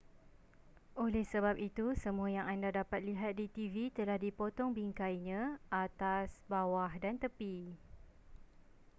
oleh sebab itu semua yang anda dapat lihat di tv telah dipotong bingkainya atas bawah dan tepi